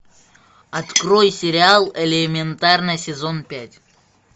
открой сериал элементарно сезон пять